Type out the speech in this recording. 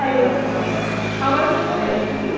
Hello? आवाज येतोय वैष्णवी?